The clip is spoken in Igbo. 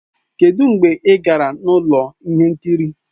Kedụ mgbe ị gara ụlọ ihe nkiri?